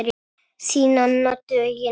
Þín Anna Döggin.